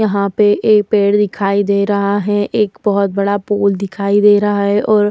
यहाँ पे एक पेड़ दिखाई दे रहा है। एक बहोत बड़ा पुल दिखाई दे रहा है। और --